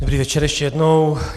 Dobrý večer ještě jednou.